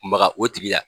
Maga o tigi la